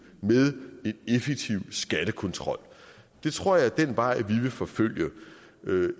med en effektiv skattekontrol det tror jeg er den vej vi vil forfølge